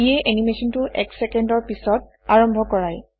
ইয়ে এনিমেচনটো এক ছেকেণ্ডৰ পিছত আৰম্ভ কৰায়